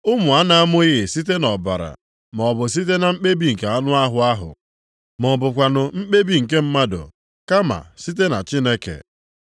Ụmụ a na-amụghị site nʼọbara, maọbụ site na mkpebi nke anụ ahụ, ma ọ bụkwanụ mkpebi nke mmadụ, kama site na Chineke.